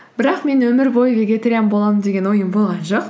бірақ мен өмір бойы вегетариан боламын деген ойым болған жоқ